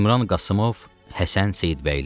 İmran Qasımov, Həsən Seyidbəyli.